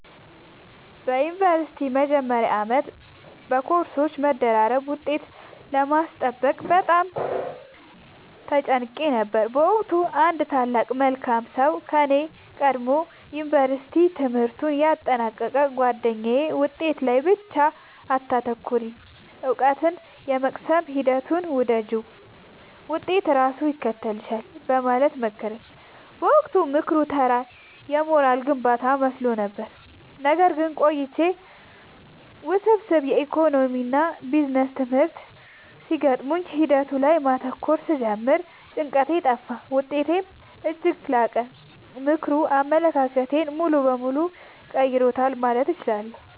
በዩኒቨርሲቲ መጀመሪያ ዓመት በኮርሶች መደራረብና ውጤት ለማስጠበቅ በጣም ተጨንቄ ነበር። በወቅቱ አንድ ታላቅ መልካም ሰው ከኔ ቀድሞ የዩንቨርስቲ ትምህርቱን ያጠናቀቀው ጉአደኛዬ «ውጤት ላይ ብቻ አታተኩሪ: እውቀትን የመቅሰም ሂደቱን ውደጂው፣ ውጤት ራሱ ይከተልሻል» በማለት መከረኝ። በወቅቱ ምክሩ ተራ የሞራል ግንባታ መስሎኝ ነበር። ነገር ግን ቆይቼ ውስብስብ የኢኮኖሚክስና ቢዝነስ ትምህርቶች ሲገጥሙኝ ሂደቱ ላይ ማተኮር ስጀምር ጭንቀቴ ጠፋ: ውጤቴም እጅግ ላቀ። ምክሩ አመለካከቴን ሙሉ በሙሉ ቀይሮታል ማለት እችላለሁ።